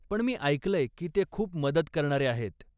पण मी ऐकलंय की ते खूप मदत करणारे आहेत.